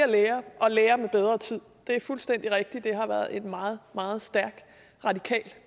lærere og lærere med bedre tid det er fuldstændig rigtigt at det har været en meget meget stærk radikal